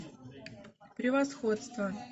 превосходство